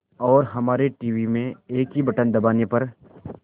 और हमारे टीवी में एक ही बटन दबाने पर